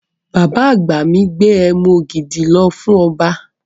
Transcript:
Bàbá àgbà mi gbé ẹmu ògidì lọ fún ọba.